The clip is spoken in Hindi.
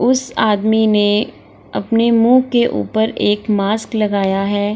उस आदमी ने अपने मुंह के ऊपर एक मास्क लगाया है।